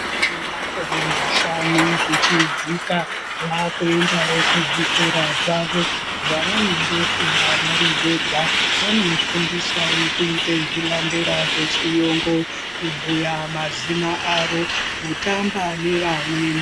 Vana vane makore mashanu zvichidzika vakuendawo kuzvikora zvavo zvavanotofunda vari vega , vanofundiswawo kuita zvilandera zvechiyungu kubhuya mazina avo kutamba nevamweni.